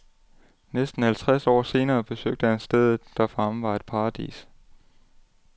Næsten halvtreds år senere besøgte han stedet, der for ham var et paradis.